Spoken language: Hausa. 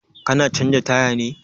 Ka na canza taya ne?